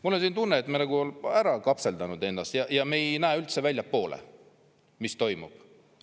Mul on tunne, et me oleme ära kapseldanud ennast ja me ei näe üldse väljapoole, mis toimub.